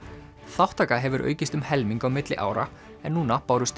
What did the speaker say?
þátttaka hefur aukist um helming á milli ára en núna bárust